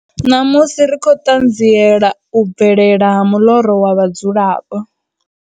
Namusi ri khou ṱanziela u bvelela ha muḽoro wa vhadzulapo.